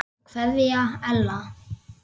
Jæja, ljúfan, segir hún snúðug.